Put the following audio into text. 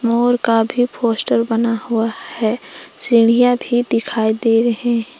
और काफी फोस्टर बना हुआ है सीढ़ियां भी दिखाई दे रहे हैं।